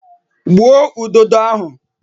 Gbuo udodo ahụ!